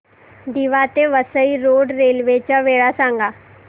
दिवा ते Vasai road railway च्या वेळा सांगा